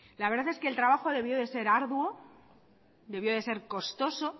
la verdad es que el trabajo debió de ser arduo debió de ser costoso